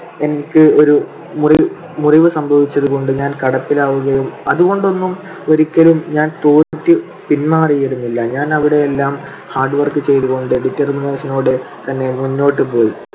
എനിക്ക് ഒരു മുറി ~ മുറിവ് സംഭവിച്ചതുകൊണ്ട് ഞാൻ കിടപ്പിലാവുകയും അതുകൊണ്ടൊന്നും ഒരിക്കലും ഞാൻ തോറ്റു പിൻമാറിയിരുന്നില്ല. ഞാൻ അവിടെയെല്ലാം hard work ചെയ്തുകൊണ്ട് determination ഓടെ തന്നെ മുന്നോട്ട് പോയി.